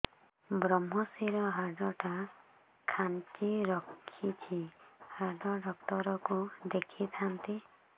ଵ୍ରମଶିର ହାଡ଼ ଟା ଖାନ୍ଚି ରଖିଛି ହାଡ଼ ଡାକ୍ତର କୁ ଦେଖିଥାନ୍ତି